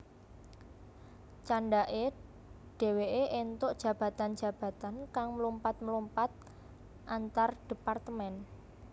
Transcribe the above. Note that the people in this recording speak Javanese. Candhake dheweke entuk jabatan jabatan kang mlumpat mlumpat antardepartemen